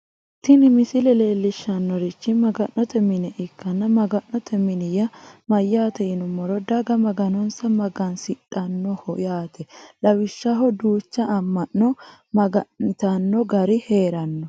tini misile leellishshannorichi maga'note mine ikkanna maga'note mini yaa mayyaate yinummoro daga maganonsa magansidhannoho yaate lawishshaho duucha amma'no maga'nitanno gari heeranno.